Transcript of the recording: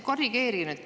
Korrigeerige nüüd.